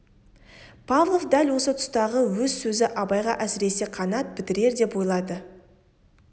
павлов дәл осы тұстағы өз сөзі абайға әсіресе қанат бітірер деп ойлайды